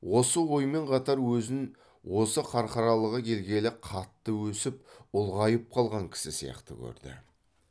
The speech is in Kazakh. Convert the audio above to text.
осы оймен қатар өзін осы қарқаралыға келгелі қатты өсіп ұлғайып қалған кісі сияқты көрді